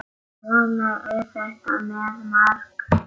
Svona er þetta með margt.